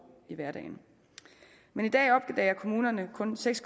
i hverdagen i dag opdager kommunerne kun seks